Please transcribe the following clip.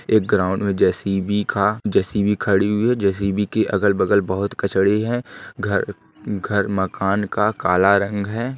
एक ग्राउंड मे जे.सी.बी का जे.सी.बी खड़ी हुई है जे.सी.बी के अगल-बगल बहुत कचड़े हैं। घर घर मकान का काला रंग है।